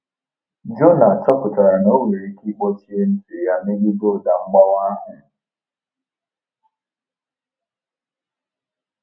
Jona chọpụtara na o nwere ike ịkpọchie ntị ya megide ụda mgbawa ahụ.